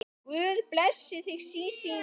Guð blessi þig Sísí mín.